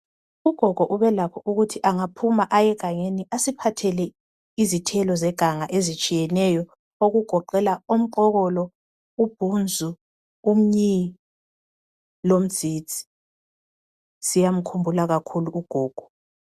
Ugogo ubelakho ukuthi angaphume aye egangeni asiphathele izithelo zeganga ezitshiyeneyo okugoqela umqokolo ,ubhunzu ,umnyi lomdzidzi siyamkhumbula kakhulu ugogo.